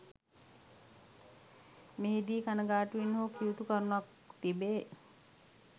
මෙහි දී කණගාටුවෙන් හෝ කිවයුතු කරුණක් තිබේ